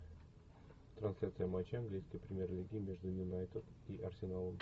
трансляция матча английской премьер лиги между юнайтед и арсеналом